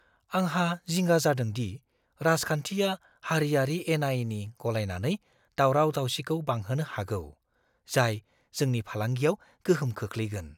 आंहा जिंगा जादों दि राजखान्थिआ हारियारि एनाएनि गलायनानै दावराव-दावसिखौ बांहोनो हागौ, जाय जोंनि फालांगियाव गोहोम खोख्लैगोन।